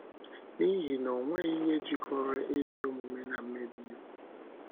“ N’ihi na onweghi ihe jikọrọ ezi omume na mmebi iwu?